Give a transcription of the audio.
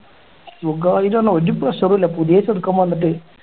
സുഖായിട്ട് ആണ് ഒരു pressure ഉം ഇല്ല പുതിയ ചെറുക്കൻ വന്നിട്ട്